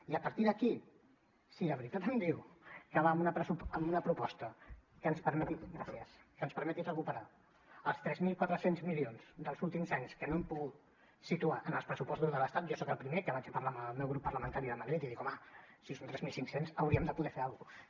i a partir d’aquí si de veritat em diu que ve amb una proposta que ens permeti recuperar els tres mil quatre cents milions dels últims anys que no hem pogut situar en els pressupostos de l’estat jo soc el primer que vaig a parlar amb el meu grup parlamentari de madrid i dic home si són tres mil cinc cents hauríem de poder fer alguna cosa